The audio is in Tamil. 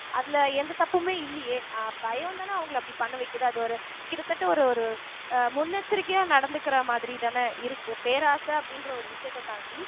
அதுல எந்த தப்புமே இல்லையே ஆஹ் பயம்தானே அவங்களை அப்படி பண்ண வைக்குது அது ஒரு கிட்டத்தட்ட ஒரு ஒரு அஹ் முன்னெச்சரிக்கையா நடந்துக்கிற மாதிரிதானே இருக்கு பேராசை அப்படின்ற ஒரு விஷயத்தை தாண்டி